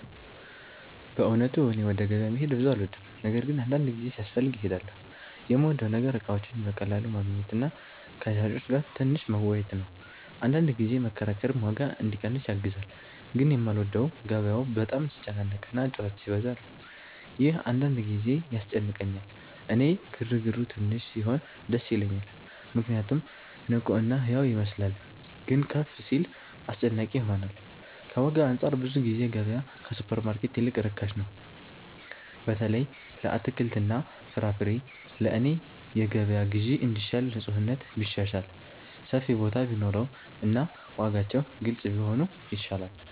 በእውነቱ እኔ ወደ ገበያ መሄድ ብዙ አልወድም፤ ነገር ግን አንዳንድ ጊዜ ሲያስፈልግ እሄዳለሁ። የምወደው ነገር እቃዎችን በቀላሉ ማግኘት እና ከሻጮች ጋር ትንሽ መወያየት ነው፤ አንዳንድ ጊዜ መከራከርም ዋጋ እንዲቀንስ ያግዛል። ግን የማልወደው ገበያው በጣም ሲጨናነቅ እና ጩኸት ሲበዛ ነው፤ ይህ አንዳንድ ጊዜ ያስጨንቀኛል። እኔ ግርግሩ ትንሽ ሲሆን ደስ ይለኛል ምክንያቱም ንቁ እና ሕያው ይመስላል፤ ግን ከፍ ሲል አስጨናቂ ይሆናል። ከዋጋ አንፃር ብዙ ጊዜ ገበያ ከሱፐርማርኬት ይልቅ ርካሽ ነው፣ በተለይ ለአትክልትና ፍራፍሬ። ለእኔ የገበያ ግዢ እንዲሻል ንፁህነት ቢሻሻል፣ ሰፊ ቦታ ቢኖር እና ዋጋዎች ግልጽ ቢሆኑ ይሻላል።